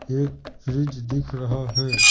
एक फ्रिज दिख रहा है ।